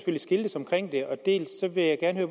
skiltes omkring det dels vil jeg gerne